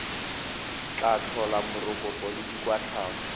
tla tlhola morokotso le dikwatlhao